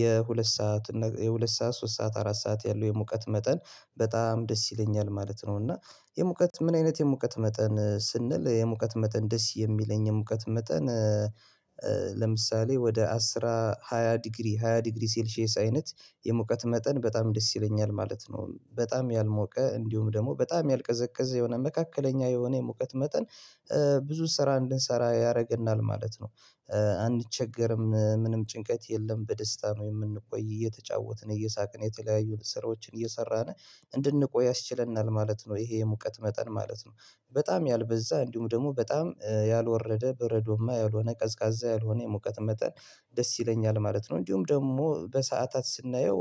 የሁለት ሰዓት የሁለት ሰዓት ሶስት ሰዓት አራት ሰዓት ያለው የሙቀት መጠን በጣም ደስ ይለኛል ማለት ነው እና የሙቀት ምን አይነት የሙቀት መጠን ስንል የሙቀት መጠን ደስ የሚለኝ የሙቀት መጠን ወደ አስራ ሃያ ዲግሪ ሃያ ዲግሪ ሴልሼስ አይነት የሙቀት መጠን በጣም ደስ ይለኛል ማለት ነው በጣም ያልሞቀ እንዲሁም ደግሞ በጣም ያልቀዘቀዘ የሆነ መካከለኛ የሆነ የሙቀት መጠን ብዙ ስራ እንድንሰራ ያደርገናል ማለት ነው አንቸገርም ምንም ጭንቀት የለም በደስታ ነው የምንቆይ እየተጫወትን እየሳቅን የተለያዩ ስራዎችን እየሰራን እንድንቆይ ያስችለናል ማለት ነው ይሄ የሙቀት መጠን ማለት ነው በጣም ያልበዛ እንዲሁም ደግሞ በጣም ያልወረደ በረዶማ ያልሆነ ቀዝቃዛ ያልሆነ የሙቀት መጠን ደስ ይለኛል ማለት ነው እንዲሁም ደግሞ በሰአታት ስናየው